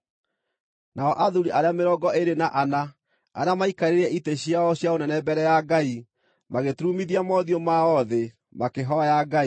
Nao athuuri arĩa mĩrongo ĩĩrĩ na ana, arĩa maaikarĩire itĩ ciao cia ũnene mbere ya Ngai, magĩturumithia mothiũ mao thĩ makĩhooya Ngai,